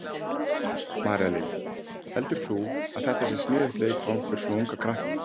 María Lilja: Heldur þú að þetta sé sniðugt leikfang fyrir svona unga krakka?